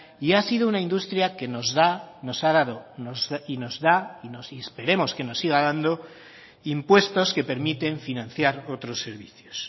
y ha sido una industria que nos da nos ha dado y nos da y esperemos que nos siga dando impuestos que permiten financiar otros servicios